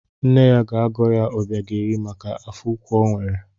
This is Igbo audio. Nne ya ga-agọ ya Obiageri maka afọ ukwu o nwere.